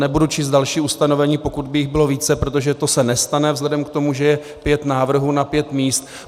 Nebudu číst další ustanovení, pokud by jich bylo více, protože to se nestane, vzhledem k tomu, že je pět návrhů na pět míst.